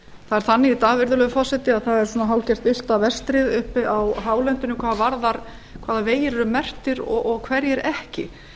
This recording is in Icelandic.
er þannig í dag virðulegi forseti að það er hálfgert villta verið uppi á hálendinu hvað varðar hvaða vegir eru merktir og hverjir ekki